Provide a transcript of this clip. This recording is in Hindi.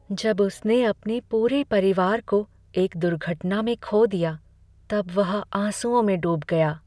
जब उसने अपने पूरे परिवार को एक दुर्घटना में खो दिया तब वह आँसुओं में डूब गया।